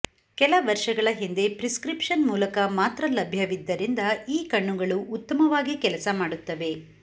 ಕೆಲ ವರ್ಷಗಳ ಹಿಂದೆ ಪ್ರಿಸ್ಕ್ರಿಪ್ಷನ್ ಮೂಲಕ ಮಾತ್ರ ಲಭ್ಯವಿದ್ದರಿಂದ ಈ ಕಣ್ಣುಗಳು ಉತ್ತಮವಾಗಿ ಕೆಲಸ ಮಾಡುತ್ತವೆ